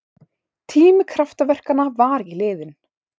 Tími kraftaverkanna var ekki liðinn!